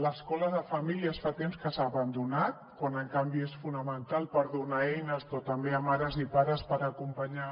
l’escola de famílies fa temps que s’ha abandonat quan en canvi és fonamental per donar eines també a mares i pares per acompanyar